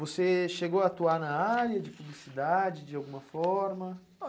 Você chegou a atuar na área de publicidade de alguma forma?